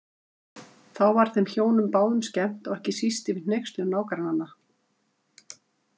Þá var þeim hjónum báðum skemmt og ekki síst yfir hneykslun nágrannanna.